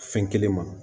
Fɛn kelen ma